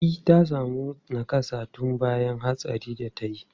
E, ta sami nakassa tun bayan hatsarin da ta yi.